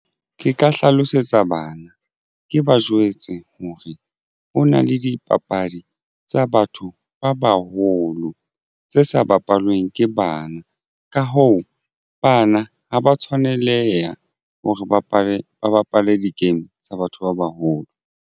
Ke ka hlalosetsa bana ke ba jwetse hore ho na le dipapadi tsa batho ba baholo tse sa bapallweng ke bana ka hoo bana ha ba tshwaneleha hore ba bapale di-game tsa batho ba baholo.